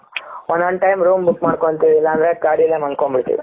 ಒಂದೊಂದು time room book ಮಾಡ್ಕೊಂತೀವಿ ಇಲ್ಲಾಂದ್ರೆ ಗಾಡಿ ಯಲ್ಲೆ ಮಲ್ಕೊಂತಿವಿ.